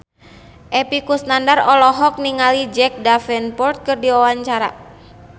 Epy Kusnandar olohok ningali Jack Davenport keur diwawancara